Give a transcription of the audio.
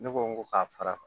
Ne ko n ko ka fara